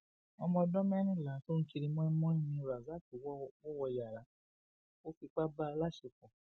ọmọdọn mẹrìnlá tó ń kiri mọínmọín ni rasaq wò wọ yàrá ó fipá bá a láṣepọ